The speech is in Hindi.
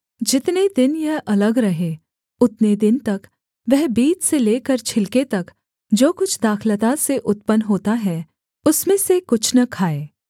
जितने दिन यह अलग रहे उतने दिन तक वह बीज से लेकर छिलके तक जो कुछ दाखलता से उत्पन्न होता है उसमें से कुछ न खाए